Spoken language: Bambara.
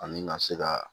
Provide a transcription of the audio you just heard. Ani ka se ka